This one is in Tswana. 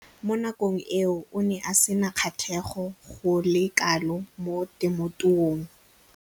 Mo nakong eo o ne a sena kgatlhego go le kalo mo temothuong.